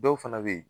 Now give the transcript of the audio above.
Dɔw fana bɛ yen